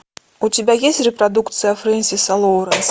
у тебя есть репродукция френсиса лоуренс